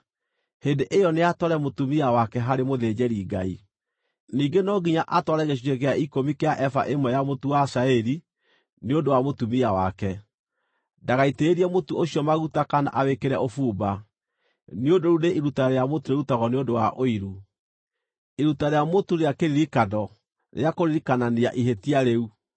hĩndĩ ĩyo nĩatware mũtumia wake harĩ mũthĩnjĩri-Ngai. Ningĩ no nginya atware gĩcunjĩ gĩa ikũmi kĩa eba ĩmwe ya mũtu wa cairi nĩ ũndũ wa mũtumia wake. Ndagaitĩrĩrie mũtu ũcio maguta kana awĩkĩre ũbumba, nĩ ũndũ rĩu nĩ iruta rĩa mũtu rĩrutagwo nĩ ũndũ wa ũiru, iruta rĩa mũtu rĩa kĩririkano, rĩa kũririkanania ihĩtia rĩu.